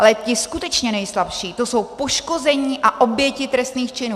Ale ti skutečně nejslabší, to jsou poškození a oběti trestných činů.